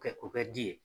Kɛ o kɛ ji ye